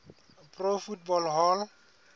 pro football hall